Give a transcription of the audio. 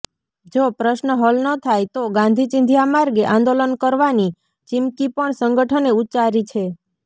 જો પ્રશ્ન હલ ન થાય તો ગાંધીચીંધ્યા માર્ગે આંદોલન કરવાની ચીમકી પણ સંગઠને ઉચ્ચારી છે